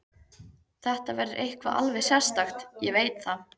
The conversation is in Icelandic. Þetta verður eitthvað alveg sérstakt, ég veit það.